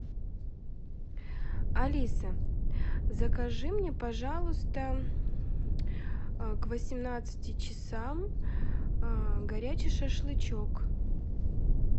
алиса закажи мне пожалуйста к восемнадцати часам горячий шашлычок